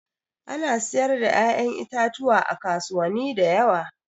Ana siyar da ƴa'ƴan itatuwa a kasuwani da yawa.